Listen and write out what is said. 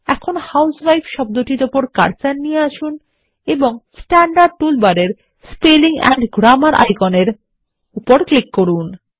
এখন হুসেভাইফ শব্দটির উপর কার্সার নিয়ে আসুন এবং স্ট্যান্ডার্ড টুল বারের মধ্যে স্পেলিং এন্ড গ্রাম্মার আইকনের উপর ক্লিক করুন